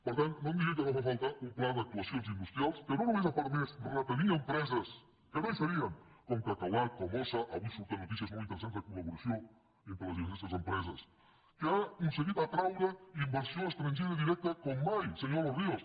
per tant no em digui que no fa falta un pla d’actuacions industrials que no només ha permès retenir empreses que no hi serien com cacaolat com ossa avui surten notícies molt interessants de colentre les diverses empreses sinó que ha aconseguit atraure inversió estrangera directa com mai senyor de los ríos